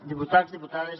diputats diputades